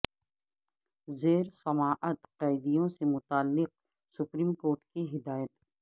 زیر سماعت قیدیوں سے متعلق سپریم کورٹ کی ہدایت